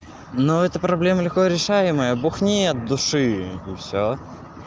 но эта проблема легко решаемая бухни от души и всё